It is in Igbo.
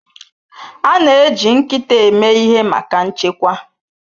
A na-eji nkịta eme ihe maka nchekwa.